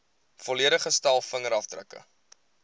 volledige stel vingerafdrukke